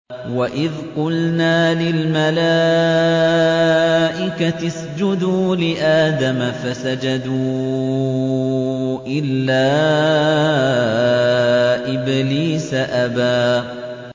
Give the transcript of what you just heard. وَإِذْ قُلْنَا لِلْمَلَائِكَةِ اسْجُدُوا لِآدَمَ فَسَجَدُوا إِلَّا إِبْلِيسَ أَبَىٰ